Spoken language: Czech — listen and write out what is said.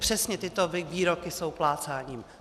Přesně tyto výroky jsou plácáním.